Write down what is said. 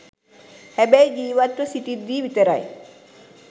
හැබැයි ජීවත්ව සිටිද්දී විතරයි